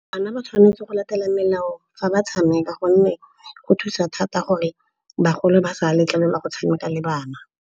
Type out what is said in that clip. Bana ba tshwanetse go latela melao fa ba tshameka gonne go thusa thata gore bagolo ba sa letlelelwa go tshameka le bana.